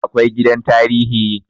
Akwai gidan tarihi